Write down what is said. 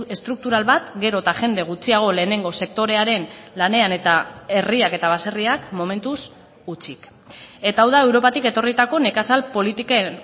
estruktural bat gero eta jende gutxiago lehenengo sektorearen lanean eta herriak eta baserriak momentuz hutsik eta hau da europatik etorritako nekazal politiken